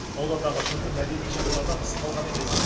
аудандағы түрлі мәдени шаралардан тыс қалған емес